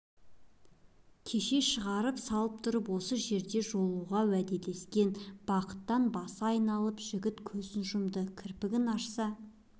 кеше шығарып салып тұрып осы жерде жолығуға уәделескен бақыттан басы айналып жігіт көзін жұмды кірпігін ашса